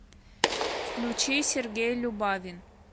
включи сергей любавин